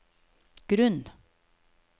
grunn